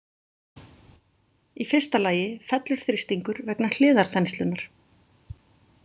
Í fyrsta lagi fellur þrýstingur vegna hliðarþenslunnar.